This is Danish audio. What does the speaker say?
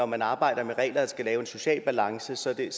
man arbejder med regler der skal lave en social balance så er